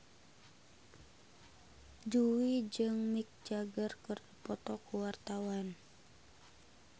Jui jeung Mick Jagger keur dipoto ku wartawan